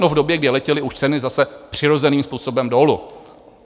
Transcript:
No v době, kdy letěly už ceny zase přirozeným způsobem dolů.